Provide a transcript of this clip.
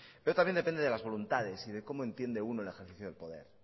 pero también depende de las voluntades y de cómo entiende uno el ejercicio del poder